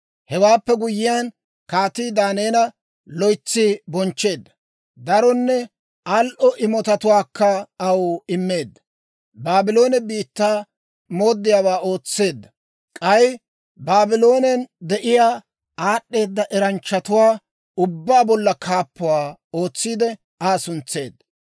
Hewaappe guyyiyaan, kaatii Daaneela loytsi bonchcheedda; daronne al"o imotatuwaakka aw immeedda; Baabloone biittaa mooddiyaawaa ootseedda. K'ay Baabloonen de'iyaa aad'd'eeda eranchchatuwaa ubbaa bolla kaappuwaa ootsiide, Aa suntseedda.